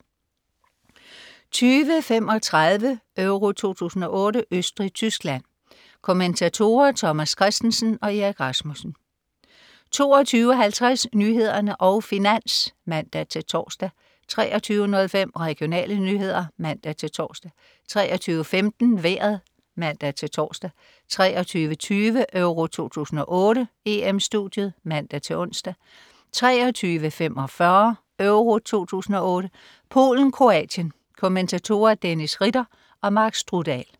20.35 EURO 2008: Østrig-Tyskland. Kommentatorer: Thomas Kristensen og Erik Rasmussen 22.50 Nyhederne og Finans (man-tors) 23.05 Regionale nyheder (man-tors) 23.15 Vejret (man-tors) 23.20 EURO 2008: EM-Studiet (man-ons) 23.45 EURO 2008: Polen-Kroatien. Kommentatorer: Dennis Ritter og Mark Strudal